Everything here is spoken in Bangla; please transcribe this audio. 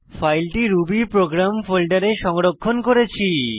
ফাইলটি রুবি প্রোগ্রাম ফোল্ডারে সংরক্ষণ করেছি